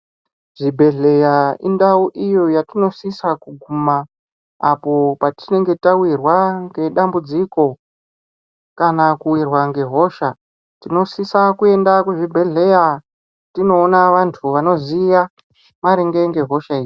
Zvibhehleya indau iyo yatinosisa kuguma apo patinenge tawirwa nedambudziko kana kuwirwa ngehosha. Tinosisa kuenda kuzvibhehleya tindoona vantu vanoziya maringe nehosha idzi.